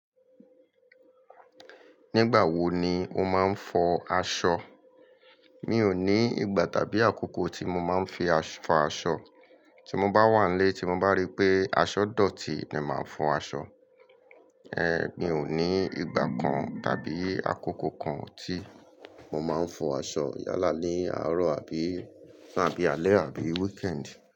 Nígbà wo ni o máa ń fọ aṣọ? Mi ò ní ìgbà tàbí àkókò tí mo máa ń fi fọ aṣọ. Tí mo bá wà nílé, tí mo bá rí pé aṣọ dọ̀tí ni màá fọ aṣọ. Ẹ̀, mi ò ní ìgbà kan tàbí àkókò kan tí mo máa ń fọ aṣọ yálà ní àárọ̀ àbí alẹ́ àbí weekend.